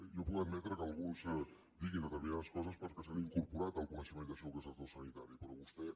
jo puc admetre que alguns diguin determinades coses perquè s’han incorporat al coneixement d’això que és el sector sanitari però vostè